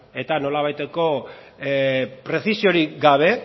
eta nolabaiteko prezisiorik gabe